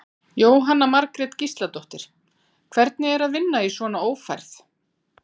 Jóhanna Margrét Gísladóttir: Hvernig er að vinna í svona ófærð?